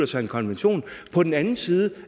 sig en konvention og på den anden side